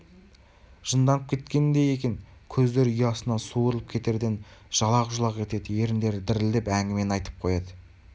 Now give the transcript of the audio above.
жынданып кеткендей екен көздері ұясынан суырылып кетерден жалақ-жұлақ етеді еріндері дірілдеп әңгімені айтып қояды